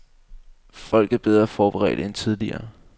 Folk er bedre forberedte end tidligere.